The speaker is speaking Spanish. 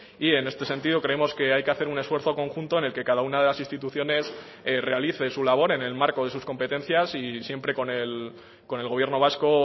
y en este sentido creemos que hay que hacer un esfuerzo conjunto en el que cada una de las instituciones realice su labor en el marco de sus competencias y siempre con el gobierno vasco